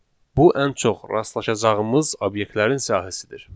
Bu ən çox rastlaşacağımız obyektlərin sayəsidir.